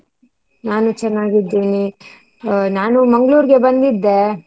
ನಾನು ಚೆನ್ನಾಗಿದ್ದೆ. ನಾನು Mangalore ಗೆ ಬಂದಿದ್ದೆ.